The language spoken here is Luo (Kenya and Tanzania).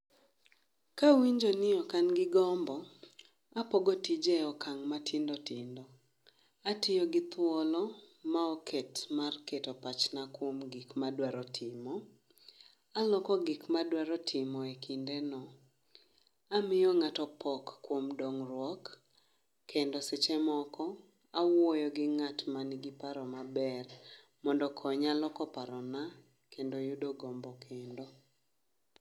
Kawinjo ni ok an gi gombo, apogo tije e okang' matindo tindo. Atiyo gi thuolo maoket mar keto pachna kuom gik madwaro timo. Aloko gikmadwaro timo e kinde no, amiyo ng'ato pok kuom dongruok. Kendo seche moko, awuoyo gi ng'at ma nigi paro maber mondokonya loko parona kendo yudo gombo kendo.